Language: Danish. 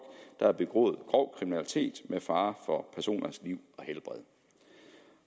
der har begået grov kriminalitet med fare for personers liv